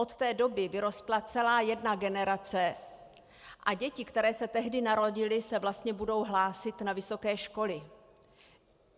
Od té doby vyrostla celá jedna generace a děti, které se tehdy narodily, se vlastně budou hlásit na vysoké školy.